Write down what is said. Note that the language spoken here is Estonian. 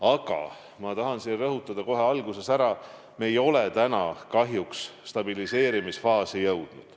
Aga ma tahan rõhutada kohe alguses ära, et me ei ole kahjuks veel stabiliseerimisfaasi jõudnud.